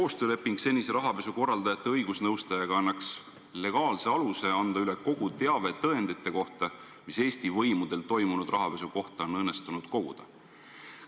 Koostööleping senise rahapesukorraldajate õigusnõustajaga annaks legaalse aluse anda üle kogu teave tõendite kohta, mis Eesti võimudel on õnnestunud toimunud rahapesu kohta koguda.